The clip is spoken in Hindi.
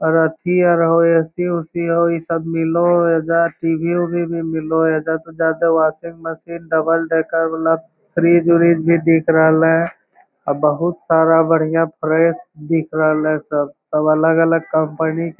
और अथी आर हउ ए.सी. उसी हउ। ई सब मिल लउ हे एजा टी.वी. उवी भी मिल लउ एजा तो जादे वाशिंग मशीन डबल डेकर वाला फ्रीज उरिज भी दिख रहलै अ बहुत सारा बढ़िया फ्लैट दिख रहलै सब। सब अलग-अलग कंपनी के --